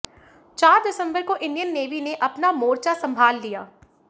चार दिसंबर को इंडियन नेवी ने अपना मोर्चा संभाल लिया